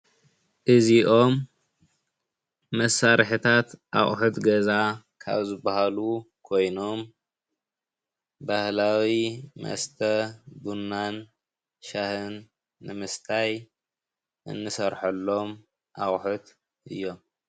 እዚኦም መሳርሕታት ኣቑሕት ገዛ ካብ ዝበሃሉ ኮይኖም ባህላዊ መስተ ቡናን ሻሂን ንምስታይ እንሰርሐሎም ኣቑሑት እዮም።